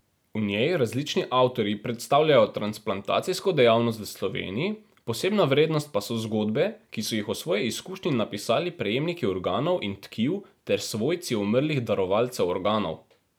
V njej različni avtorji predstavljajo transplantacijsko dejavnost v Sloveniji, posebna vrednost pa so zgodbe, ki so jih o svoji izkušnji napisali prejemniki organov in tkiv ter svojci umrlih darovalcev organov.